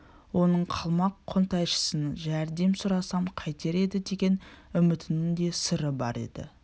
оның қалмақ қонтайшысынан жәрдем сұрасам қайтер еді деген үмітінің де сыры бар еді